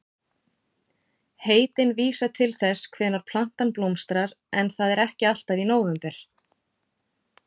Heitin vísa til þess hvenær plantan blómstrar en það er ekki alltaf í nóvember.